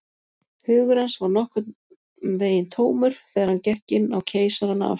Hugur hans var nokkurn veginn tómur, þegar hann gekk inn á Keisarann af